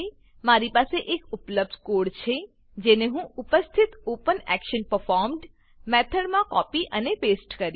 મારી પાસે એક ઉપલબ્ધ કોડ છે જેને હું ઉપસ્થિત OpenActionPerformed મેથડમાં કોપી અને પેસ્ટ કરીશ